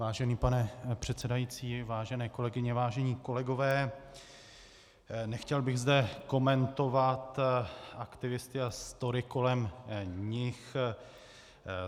Vážený pane předsedající, vážené kolegyně, vážení kolegové, nechtěl bych zde komentovat aktivisty a story kolem nich.